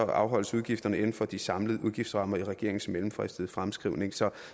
afholdes udgifterne inden for de samlede udgiftsrammer i regeringens mellemfristede fremskrivning så